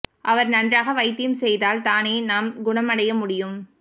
அவர் நன்றாக வைத்தியம் செய்தால் தானே நாம் குணம் அடைய முடியும்